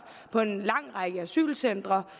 på en lang række asylcentre